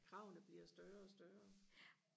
kravene bliver større og større